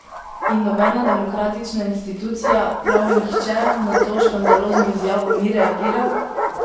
In nobena demokratična institucija, prav nihče na to škandalozno izjavo ni reagiral!